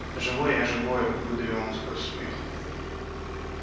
да живой я живой выдавил он сквозь смех